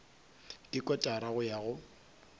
ke kotara go ya go